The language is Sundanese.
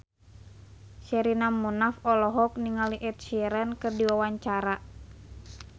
Sherina Munaf olohok ningali Ed Sheeran keur diwawancara